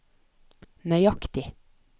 nøyaktig